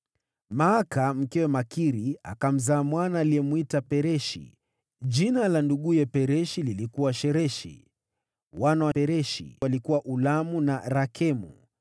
Maaka mkewe Makiri akamzaa mwana aliyemwita Pereshi. Jina la nduguye lilikuwa Shereshi. Wana wa Pereshi walikuwa Ulamu na Rakemu.